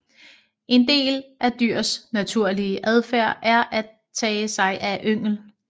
En del af dyrs naturlige adfærd er at tage sig af yngel